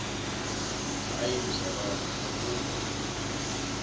hayi mzalwana akukho